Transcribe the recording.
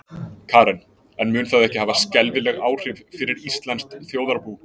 Karen: En mun það ekki hafa skelfileg áhrif fyrir íslenskt þjóðarbú?